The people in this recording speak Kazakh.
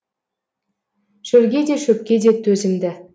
шөлге де шөпке де төзімді